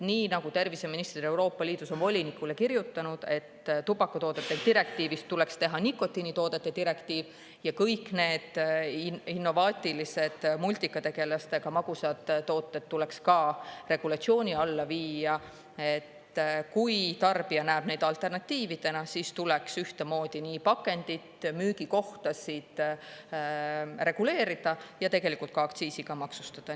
Nii nagu terviseministrid Euroopa Liidus on volinikule kirjutanud, et tubakatoodete direktiivist tuleks teha nikotiinitoodete direktiiv ja kõik need innovaatilised multikategelastega magusad tooted tuleks ka regulatsiooni alla viia, et kui tarbija näeb neid alternatiividena, siis tuleks ühtemoodi nii pakendit, müügikohtasid reguleerida ja tegelikult ka aktsiisiga maksustada.